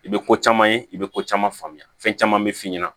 I bɛ ko caman ye i bɛ ko caman faamuya fɛn caman bɛ f'i ɲɛna